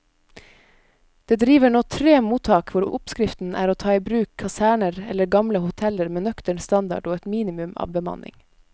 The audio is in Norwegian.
Det driver nå tre mottak hvor oppskriften er å ta i bruk kaserner eller gamle hoteller med nøktern standard og et minimum av bemanning.